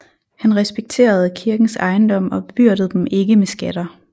Han respekterede kirkens ejendom og bebyrdede dem ikke med skatter